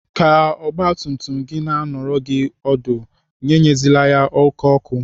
Ka ọgbatumtum gị na anọrọ gị ọdụ, enyezila ya oké ọkụ.